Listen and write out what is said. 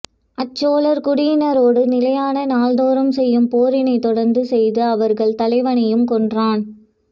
அச்சோழர் குடியினரோடு நிலையான நாள்தோறும் செய்யும் போரினைத் தொடர்ந்து செய்து அவர்கள் தலைவனையும் கொன்றான்